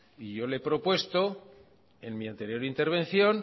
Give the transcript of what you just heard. y yo he le he propuesto en mi anterior intervención